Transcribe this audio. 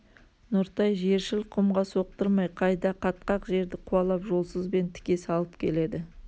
нұртай жершіл құмға соқтырмай қайда қатқақ жерді қуалап жолсызбен тіке салып келеді